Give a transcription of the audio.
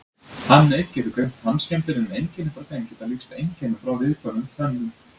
Hann einn getur greint tannskemmdir en einkenni frá þeim geta líkst einkennum frá viðkvæmum tönnum.